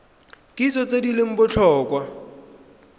kitso tse di leng botlhokwa